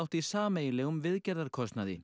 í sameiginlegum viðgerðarkostnaði